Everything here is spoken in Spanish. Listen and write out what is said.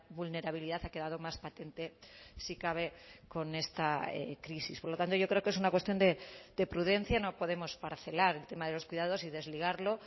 vulnerabilidad ha quedado más patente si cabe con esta crisis por lo tanto yo creo que es una cuestión de prudencia no podemos parcelar el tema de los cuidados y desligarlo